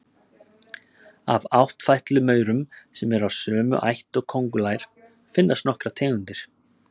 Af áttfætlumaurum, sem eru af sömu ætt og köngulær, finnast nokkrar tegundir.